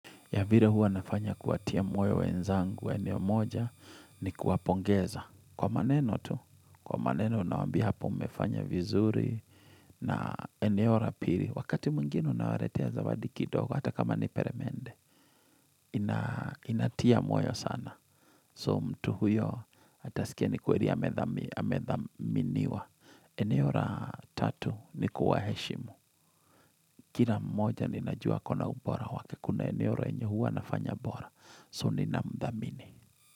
Ya vile huwa nafanya kuwatia moyo wenzangu, eneo moja, ni kuwapongeza. Kwa maneno tu, kwa maneno nawaambia hapo umefanya vizuri na eneo la pili. Wakati mwingine unawaletea zawadi kidogo, hata kama ni peremende, inatia moyo sana. So mtu huyo atasikia ni kweli amethaminiwa. Eneo la tatu ni kuwaheshimu. Kila mmoja ninajua akona ubora wake, kuna eneo lenye huwa anafanya bora. So ninamthamini.